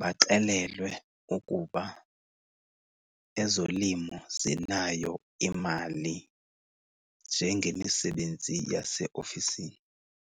baxelelwe ukuba ezolimo zinayo imali njengemisebenzi yaseofisini.